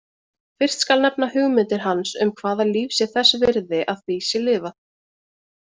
Fyrst skal nefna hugmyndir hans um hvaða líf sé þess virði að því sé lifað.